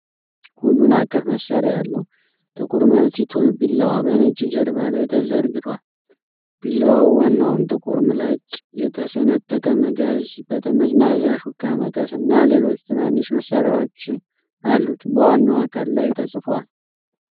ሁሉን አቀፍ መሳሪያ ያለው ጥቁር መልቲ ቱል ቢላዋ በነጭ ጀርባ ላይ ተዘርግቷል። ቢላዋው ዋናውን ጥቁር ምላጭ፣ የተሰነጠቀ መጋዝ፣ ጠመዝማዛ ሹካ፣ መቀስ እና ሌሎች ትናንሽ መሳሪያዎች አሉት። በዋናው አካል ላይ ተጽፏል።